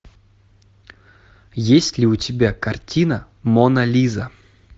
есть ли у тебя картина мона лиза